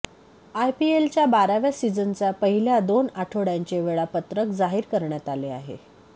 आयपीएलच्या बाराव्या सीझनचा पहिल्या दोन आठवड्यांचे वेळापत्रक जाहीर करण्यात आले आहे